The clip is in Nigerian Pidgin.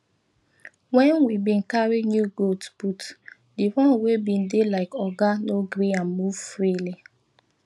when we bin carry new goat put the one wey bin dey like oga no gree am move freely